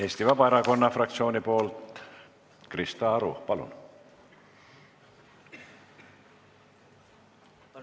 Eesti Vabaerakonna fraktsiooni nimel Krista Aru, palun!